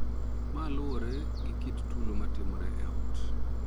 Ma luwore gi kit tulo ma timore e ot.